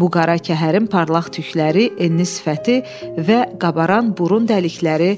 Bu qara kəhərin parlaq tükləri, enli sifəti və qabaran burun dəlikləri